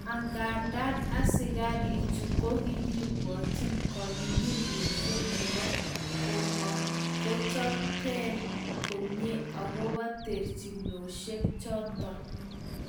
Angandan asikarichu kokokibwotyi kangunyngunyoshek nebo komochopchigen komie agobo terchinoshek choton